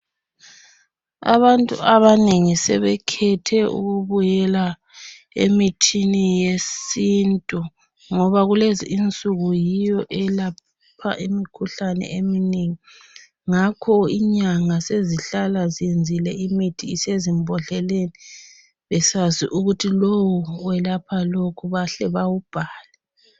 Abantu abanengi sebekhethe ukubuyela emithini yesintu ngoba kulezi insuku yiyo elapha imikhuhlane eminengi ngakho inyanga sezihlala ziyenzile imithi isezimbodleni besazi ukuthi lo uwelapha lokhu bahle bawubhale.